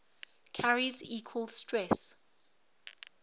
carries equal stress